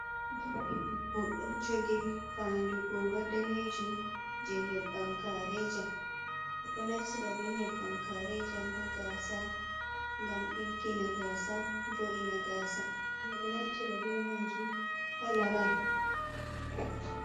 Juuɗe debbo, ɗo jogi faandu goora danejum, je nƴebbam kaarejam. Ɓe ɗo naftira bee nƴebbam kaarejam haa gaasa ngam ɗiggina gaasa, wo’ina gaasa. Ɓe ɗo naftira be maajum ha laral.